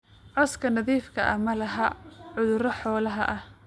Cawska nadiifka ah ma laha cudurro xoolaha ah